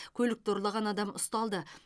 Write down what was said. көлікті ұрлаған адам ұсталды